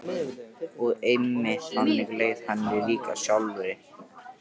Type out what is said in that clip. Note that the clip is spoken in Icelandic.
Og einmitt þannig leið henni líka sjálfri.